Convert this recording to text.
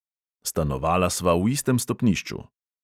Stanovala sva v istem stopnišču.